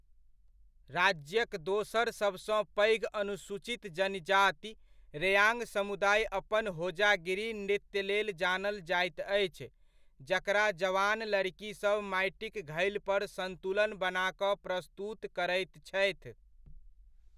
राज्यक दोसर सबसँ पैघ अनुसूचित जनजाति, रेआङ्ग समुदाय अपन होजागिरी नृत्यलेल जानल जाइत अछि, जकरा जवान लड़िकीसभ माटिक घैलपर सन्तुलन बना कऽ प्रस्तुत करैत छथि।